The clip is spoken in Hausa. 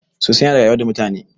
sosai yana rayuwa da mutane